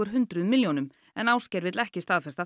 hundruð milljónum Ásgeir vill ekki staðfesta